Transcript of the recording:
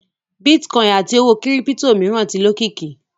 Bitcoin àti owó kírípítò mìíràn ti lókìkí.